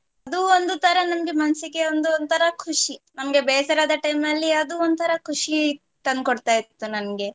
ಅದು ಒಂದು ತರ ನಂಗೆ ಮನ್ಸಿಗೆ ಒಂದು ಒಂತರ ಖುಷಿ ನಮ್ಗೆ ಬೇಜಾರ್ ಅದ time ಅಲ್ಲಿ ಅದು ಒಂತರ ಖುಷಿ ತಂದು ಕೊಡ್ತಾ ಇತ್ತು ನಂಗೆ.